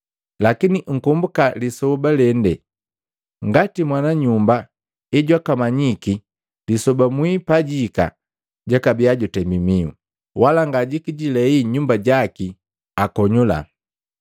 Lakini nkombuka lijambu lende, ngati mwana nyumba ejwakamanyiki lisoba mwii pajihika, jakabiya jutemi mihu, wala ngajikijilei nyumba jaki akonyula.